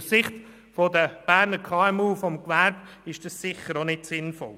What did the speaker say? Aus Sicht der Berner KMU, des Gewerbes ist das sicher auch nicht sinnvoll.